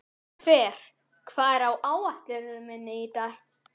Hlöðver, hvað er á áætluninni minni í dag?